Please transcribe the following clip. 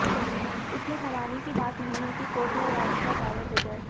इसमें हैरानी की बात नहीं है कि कोर्ट में याचिका दायर हो जाए